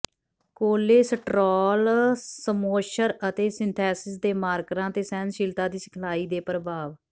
cholesterol ਸਮੋਸ਼ਰ ਅਤੇ synthesis ਦੇ ਮਾਰਕਰਾਂ ਤੇ ਸਹਿਣਸ਼ੀਲਤਾ ਦੀ ਸਿਖਲਾਈ ਦੇ ਪ੍ਰਭਾਵ